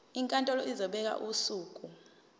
inkantolo izobeka usuku